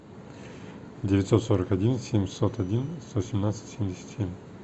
девятьсот сорок один семьсот один сто семнадцать семьдесят семь